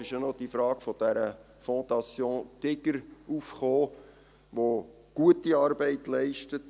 Es kam ja noch diese Frage der Fondation Digger auf, die gute Arbeit leistet.